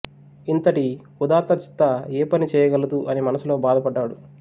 ఇంతటి ఉదాత్తచిత్త ఏ పని చేయగలదు అని మనసులో బాధపడ్డాడు